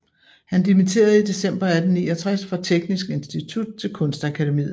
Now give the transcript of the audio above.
Han dimitterede i december 1869 fra Teknisk Institut til Kunstakademiet